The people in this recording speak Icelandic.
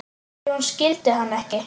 Nei, hún skildi hann ekki.